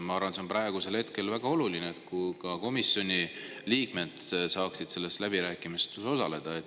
Ma arvan, et praegu on väga oluline, kui ka komisjoni liikmed saaksid nendes läbirääkimistes osaleda.